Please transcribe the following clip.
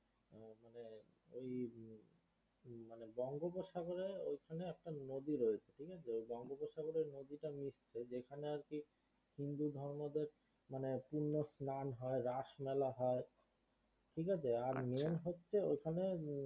বঙ্গোপসাগরে ওইখানে একটা নদী রয়েছে ঠিকআছে ওই বঙ্গোপসাগরে নদীটা মিশছে যেখানে আর কি হিন্দু ধর্মদের মানে পুন্য স্নান হয় রাস মেলা হয় ঠিকআছে আচ্ছা আর main হচ্ছে ওইখানে